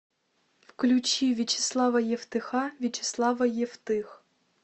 включи вячеслава евтыха вячеслава евтых